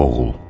Oğul.